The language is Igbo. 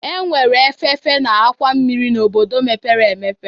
Enwere efefe na àkwà mmiri n'obodo mepere emepe